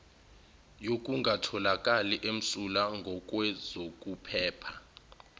yokungatholakali emsulwa ngokwezokuphepha